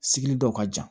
Sigili dɔ ka jan